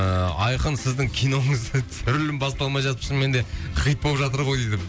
ыыы айқын сіздің киноңыз түсірілім басталмай жатып шынымен де хит болып жатыр ғой дейді